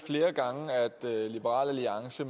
liberal alliance